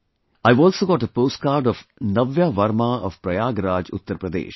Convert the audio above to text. I have also got a post card of Navya Verma of Prayagraj, Uttar Pradesh